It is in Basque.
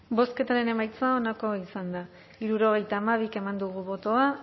bozketaren emaitza onako izan da hirurogeita hamar eman dugu bozka